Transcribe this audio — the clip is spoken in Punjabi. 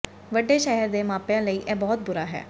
ਵੱਡੇ ਸ਼ਹਿਰ ਦੇ ਮਾਪਿਆਂ ਲਈ ਇਹ ਬਹੁਤ ਬੁਰਾ ਹੈ